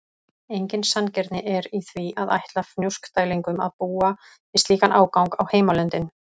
Engin sanngirni er í því að ætla Fnjóskdælingum að búa við slíkan ágang á heimalöndin.